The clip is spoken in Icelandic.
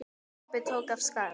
Kobbi tók af skarið.